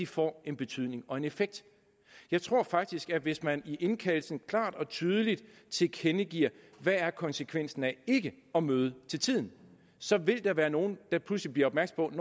får en betydning og en effekt jeg tror faktisk at hvis man i indkaldelsen klart og tydeligt tilkendegiver hvad konsekvensen er af ikke at møde til tiden så vil der være nogle der pludselig bliver opmærksomme